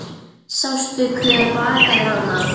Sástu hver bakaði hana?